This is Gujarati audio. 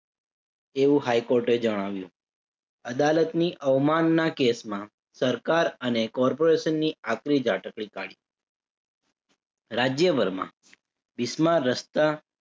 એવું હાઈ કોર્ટે જણાવ્યું. અદાલતની અવમાનના કેસમાં સરકાર અને corporation ની આકરી ઝાટકડી કાઢી. રાજ્યભરમાં રસ્તા